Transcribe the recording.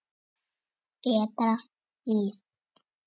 Betra líf.